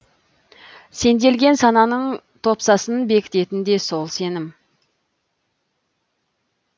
сенделген сананың топсасын бекітетін де сол сенім